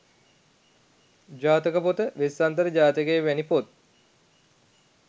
ජාතක පොත, වෙස්සන්තර ජාතකය වැනි පොත්